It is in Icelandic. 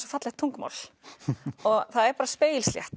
fallegt tungumál það er bara spegilslétt